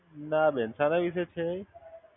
ના બેન, શાના વિશે છે?